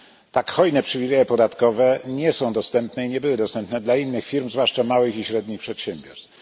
Tak hojne przywileje podatkowe nie są dostępne i nie były dostępne dla innych firm, zwłaszcza małych i średnich przedsiębiorstw.